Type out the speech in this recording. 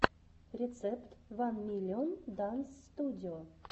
рецепт ван миллион данс студио